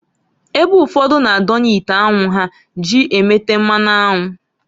Ebe ụfọdụ na-adonye ite anwu ha ji emete mmanụ anwụ.